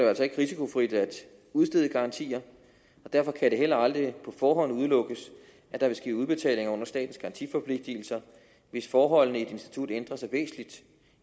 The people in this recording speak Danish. altså ikke risikofrit at udstede garantier og derfor kan det heller aldrig på forhånd udelukkes at der vil ske udbetalinger under statens garantiforpligtelser hvis forholdene i et institut ændrer sig væsentligt